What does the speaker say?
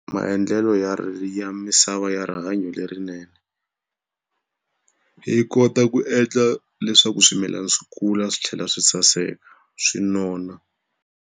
Maendlelo ya ya misava ya rihanyo lerinene, yi kota ku endla leswaku swimilana swi kula swi tlhela swi saseka, swi nona.